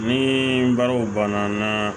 Ni baaraw banna